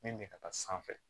Min bɛ ka taa sanfɛ